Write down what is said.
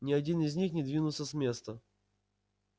ни один из них не двинулся с места